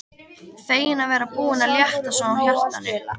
Fegin að vera búin að létta svona á hjartanu.